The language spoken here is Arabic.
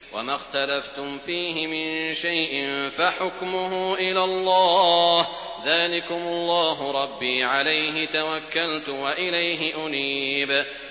وَمَا اخْتَلَفْتُمْ فِيهِ مِن شَيْءٍ فَحُكْمُهُ إِلَى اللَّهِ ۚ ذَٰلِكُمُ اللَّهُ رَبِّي عَلَيْهِ تَوَكَّلْتُ وَإِلَيْهِ أُنِيبُ